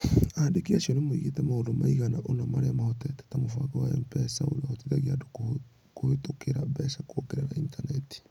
Andĩki acio nĩ moigĩte maũndũ maigana ũna marĩa mahotete ta mũbango wa M-PESA ũrĩa ũhotithagia andũ kũhĩtũkĩra mbeca kũgerera Intaneti.